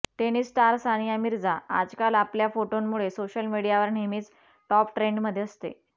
tennis star Sania Mirza आजकाल आपल्या फोटोंमुळे सोशल मीडियावर नेहमीच टॉप ट्रेन्डमध्ये असते